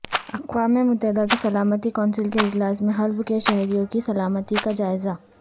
اقوام متحدہ کی سلامتی کونسل کےاجلاس میں حلب کے شہریوں کی سلامتی کا جائزہ